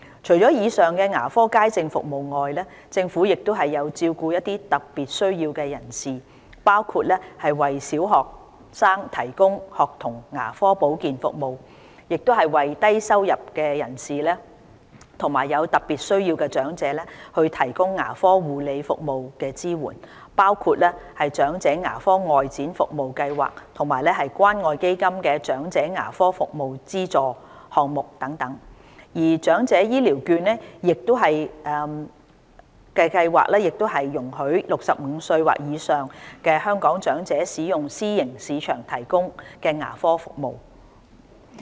除以上牙科街症服務外，政府亦有照顧一些有特別需要的人士，包括為小學生提供學童牙科保健服務，為低收入及有特別需要的長者提供牙科護理服務支援，包括長者牙科外展服務計劃及關愛基金"長者牙科服務資助"項目等，而長者醫療券計劃亦容許65歲或以上的香港長者使用私營市場提供的牙科服務。